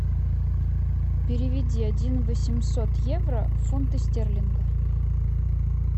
переведи один восемьсот евро в фунты стерлинга